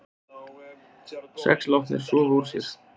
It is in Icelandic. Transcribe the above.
Sex látnir sofa úr sér